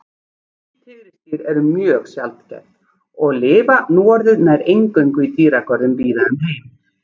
Hvít tígrisdýr eru mjög sjaldgæf og lifa núorðið nær eingöngu í dýragörðum víða um heim.